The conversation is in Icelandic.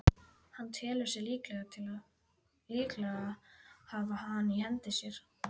Hann telur sig líklega hafa hana í hendi sér.